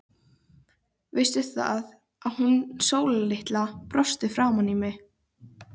Og kann vera að fleira fréttist.